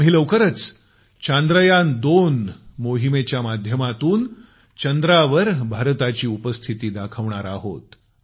आम्ही लवकरच चांद्रयान2 मोहिमेच्या माध्यमातून चंद्रावर भारताची उपस्थिती दाखवणार आहोत